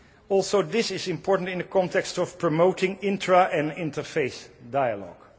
Also, this is important in the context of promoting intra and interfaith dialogue.